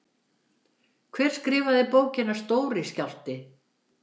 Hver skrifaði bókina Stóri skjálfti?